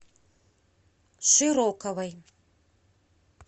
широковой